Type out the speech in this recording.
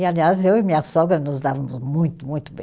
E, aliás, eu e minha sogra nos dávamos muito, muito bem.